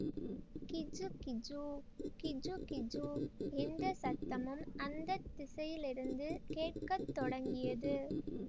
கிஜுகிஜு கிஜுகிஜு என்ற சத்தமும் அந்த திசையிலிருந்து கேட்க தொடங்கியது